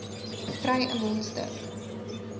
kry n mondstuk